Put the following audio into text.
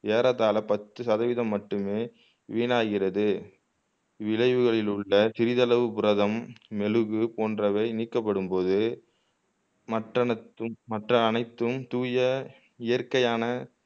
ஏறத்தாழ பத்து சதவிகிதம் மட்டுமே வீணாகிறது இழகளில் உள்ள சிறிதளவு புரதம் மெழுகு போன்றவை நீக்கப்படும்போது மற்றனத் மற்ற அனைத்தும் தூய இயற்கையான